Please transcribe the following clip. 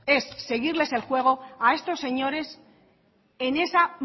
es seguirles el juego a estos señores en esa